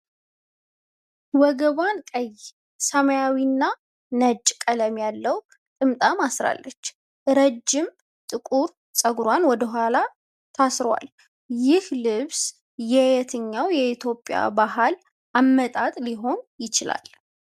ወገቧን ቀይ፣ ሰማያዊና ነጭ ቀለም ያለው ጥምጣም አስራለች፤ ረጅም ጥቁር ፀጉሯ ወደኋላ ታስሯል። ይህ ልብስ የየትኛው የኢትዮጵያ ባህል አመጣጥ ሊሆን ይችላል?